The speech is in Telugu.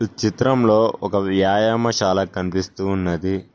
చిత్రంలో ఒక వ్యాయామశాల కనిపిస్తూ ఉన్నది.